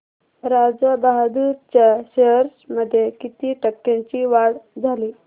राजा बहादूर च्या शेअर्स मध्ये किती टक्क्यांची वाढ झाली